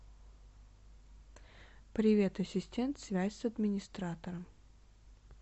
привет ассистент связь с администратором